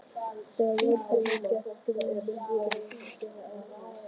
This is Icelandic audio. Þegar Jón hafði gert Grími grein fyrir áhuga Íslendinga í